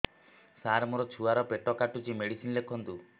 ସାର ମୋର ଛୁଆ ର ପେଟ କାଟୁଚି ମେଡିସିନ ଲେଖନ୍ତୁ